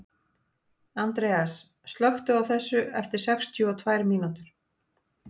Andreas, slökktu á þessu eftir sextíu og tvær mínútur.